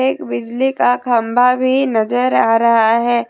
एक बिजली का खंबा भी नजर आ रहा है।